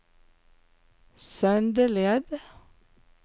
Søndeled